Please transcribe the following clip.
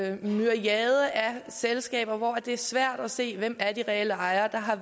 en myriade af selskaber hvor det er svært at se hvem der er de reelle ejere der har